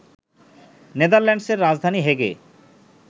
নেদারল্যান্ডসের রাজধানী হেগে